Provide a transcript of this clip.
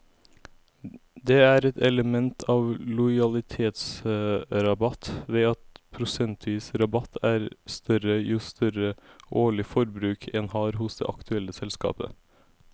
Det er et element av lojalitetsrabatt ved at prosentvis rabatt er større jo større årlig forbruk en har hos det aktuelle selskapet.